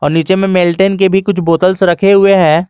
और नीचे में मेल्टन के भी कुछ बॉटल्स रखे हुए हैं।